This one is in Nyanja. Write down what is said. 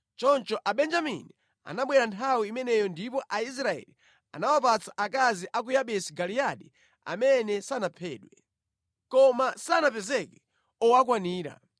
Choncho Abenjamini anabwera nthawi imeneyo ndipo Aisraeli anawapatsa akazi a ku Yabesi Giliyadi amene sanaphedwe. Koma sanapezeke owakwanira.